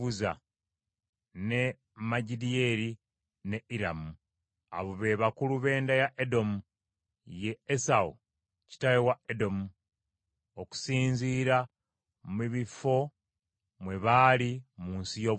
ne Magidiyeri, ne Iramu. Abo be bakulu b’enda ya Edomu, ye Esawu kitaawe wa Edomu, okusinziira mu bifo mwe baali mu nsi y’obutaka bwabwe.